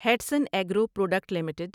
Hatsun agro product limited